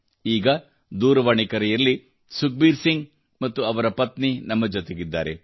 ಈಗ ದೂರವಾಣಿ ಕರೆಯಲ್ಲಿ ಸುಖಬೀರ್ ಸಿಂಗ್ ಮತ್ತು ಅವರ ಪತ್ನಿ ನಮ್ಮ ಜೊತೆಗಿದ್ದಾರೆ